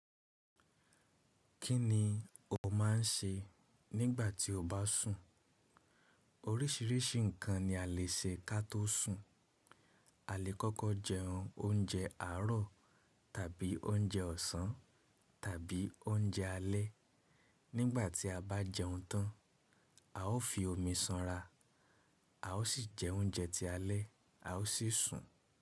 Kí ni o má n ṣe nígbà tí o bá sùn? Orísìírísìí nǹkan ni a lè ṣe ká tó sùn. A lè kọ́kọ́ jẹ oun oúnjẹ àárọ̀ tàbí oúnjẹ ọ̀sán tàbí oúnjẹ alẹ́. Nígbà tí a bá jẹun tán, a ó fi omi sanra, a ó sì jẹ oúnjẹ tí alẹ́ a ó sì sùn.